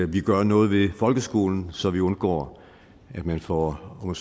vi gør noget ved folkeskolen så vi undgår at man får om